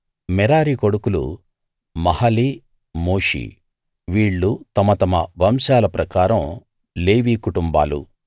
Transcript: మెరారి కొడుకులు Mahli Mushi వీళ్ళు తమ తమ వంశాల ప్రకారం లేవి కుటుంబాలు